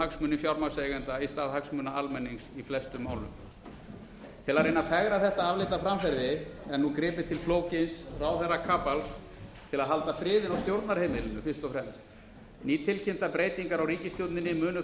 hagsmuni fjármagnseigenda í stað hagsmuna almennings í flestum málum til að reyna að fegra þetta afleita framferði er nú gripið til flókins ráðherrakapals til að halda friðinn á stjórnarheimilinu fyrst og fremst nýtilkynntar breytingar á ríkisstjórninni munu